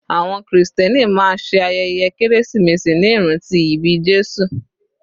Àwọn krìstẹ́nì máa ṣe ayẹyẹ kérésìmesì ní ìrántí ìbí Jésù.